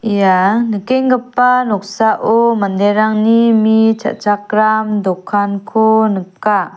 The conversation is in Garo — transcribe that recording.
ia nikenggipa noksao manderangni mi cha·chakram dokanko nika.